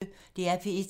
DR P1